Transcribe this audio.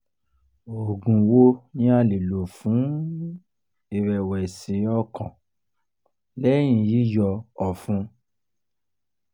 oògun wo ni a le lò fún irẹ̀wẹ̀sì-ọkàn lẹ́yìñ yíyọ ọ̀fun?